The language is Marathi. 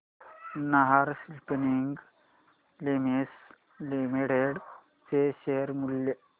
नाहर स्पिनिंग मिल्स लिमिटेड चे शेअर मूल्य